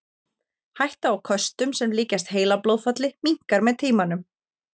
Hætta á köstum sem líkjast heilablóðfalli minnkar með tímanum.